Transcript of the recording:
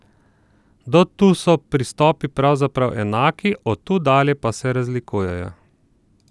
Do tu so pristopi pravzaprav enaki, od tu dalje pa se razlikujejo.